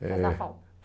Eh... Faz na FAU.